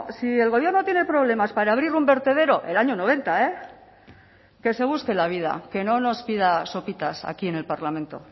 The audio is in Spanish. si el gobierno tiene problemas para abrir un vertedero el año noventa que se busque la vida que no nos pida sopitas aquí en el parlamento